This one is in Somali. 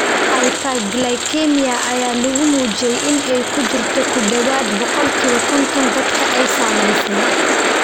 Hyperglycemia ayaa lagu muujiyay in ay ku jirto ku dhawaad ​​ boqolkiba konton dadka ay saamaysay.